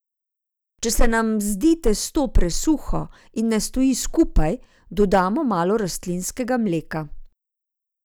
Če se nam zdi testo presuho in ne stoji skupaj, dodamo malo rastlinskega mleka.